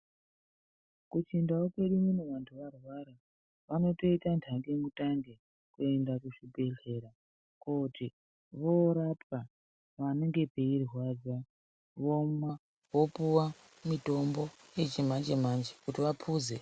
Kuchindau kwedu unono antu arwara anotoita ntange mutange kuenda kuzvibhedhlera koti vorapwa panenge peirwadza vomwa vopuwa mutombo yechimanje manje kuti vaphuze.